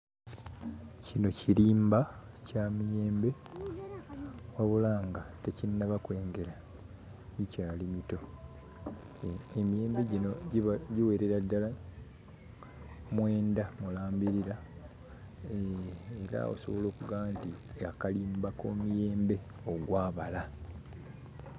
Kino kirimba kya miyembe, wabula nga tekinnaba kwengera gikyali mito. Emiyembe gino giba giwerera ddala mwenda mulambirira era osobola ogkumba nti akalimba k'omiyembe ogwabala.